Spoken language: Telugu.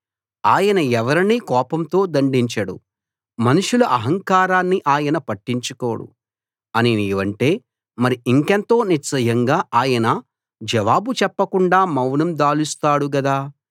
ఆయన ఎవరినీ కోపంతో దండించడు మనుషుల అహంకారాన్ని ఆయన పట్టించుకోడు అని నీవంటే మరి ఇంకెంతో నిశ్చయంగా ఆయన జవాబు చెప్పకుండా మౌనం దాలుస్తాడు గదా